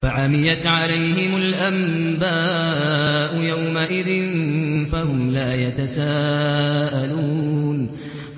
فَعَمِيَتْ عَلَيْهِمُ الْأَنبَاءُ يَوْمَئِذٍ فَهُمْ لَا يَتَسَاءَلُونَ